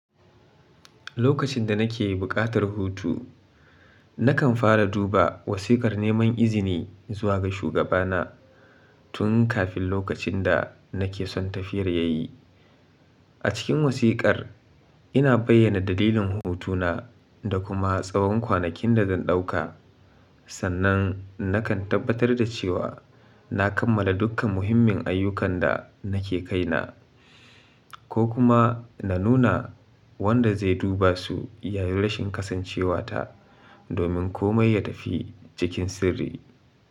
Lokacin da nake yi buƙatar hutu, nakan fara duba wasiƙar neman izini zuwa ga shugabana tun kafin lokacin da nake son tafiyar ya yi. A cikin wasiƙar, ina bayyana dalilin hutu na da kuma tsawon kwanakin da zan ɗauka. Sannan nakan tabbatar da cewa na kammala dukkan muhimmin ayyukan da nake kai na, ko kuma na nuna wanda zai duba su yayin rashin kasancewa ta domin komai ya tafi cikin sirri.